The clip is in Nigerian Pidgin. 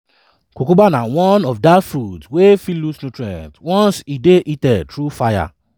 cucumber na one of dat fruits wey fit lose nutrient once e dey heated through fire.